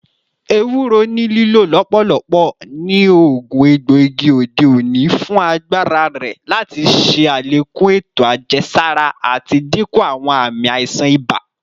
Ewuro ni lilo lọpọlọpọ ni oogun egboigi ode oni fun agbara rẹ lati ṣe alekun eto ajẹsara ati dinku awọn aami aisan iba.